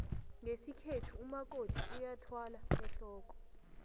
ngesikhethu umakoti uyathwala ehlooko